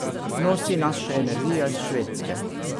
Nosi nas še energija iz Švedske.